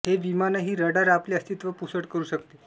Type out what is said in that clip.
हे विमानही रडार आपले अस्तित्त्व पुसट करू शकते